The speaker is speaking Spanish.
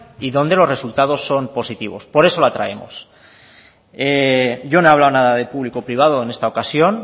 y donde los resultados son positivos por eso la traemos yo no he hablado nada de público privado en esta ocasión